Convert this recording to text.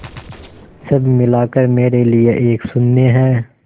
सब मिलाकर मेरे लिए एक शून्य है